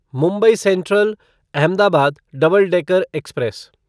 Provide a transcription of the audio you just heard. Mumbai central Ahmedabad double decker express